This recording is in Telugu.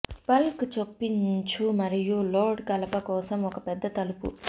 బల్క్ చొప్పించు మరియు లోడ్ కలప కోసం ఒక పెద్ద తలుపు